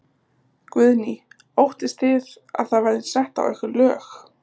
Guðný: Óttist þið að það verði sett á ykkur lög?